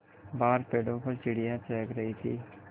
बाहर पेड़ों पर चिड़ियाँ चहक रही थीं